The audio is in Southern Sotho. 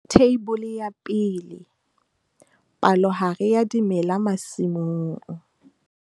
Theibole ya 1. Palohare ya dimela masimong.